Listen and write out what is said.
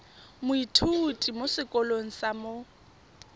moithuti mo sekolong sa mo